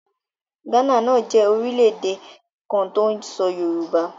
Ghana náà jẹ́ orílẹ̀ èdè kan tó ń sọ èdè Yorùbá.